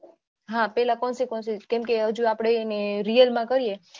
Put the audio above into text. હા પેહલા consequences કેમકે હજુ આપણે એને real માં કરીયે